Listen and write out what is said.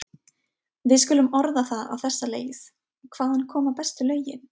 Við skulum orða það á þessa leið: hvaðan koma bestu lögin?